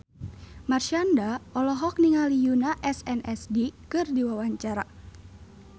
Marshanda olohok ningali Yoona SNSD keur diwawancara